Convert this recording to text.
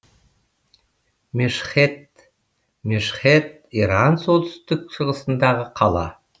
мешһед мешхед иран солтүстік шығысындағы қала